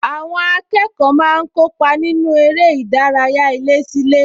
Àwọn akẹ́kọ̀ọ́ máa ń kópa nínú eré ìdárayá ilésílé